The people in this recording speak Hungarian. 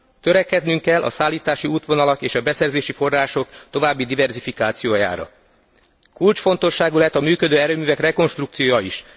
Törekednünk kell a szállítási útvonalak és a beszerzési források további diverzifikációjára. Kulcsfontosságú lehet a működő erőművek rekonstrukciója is.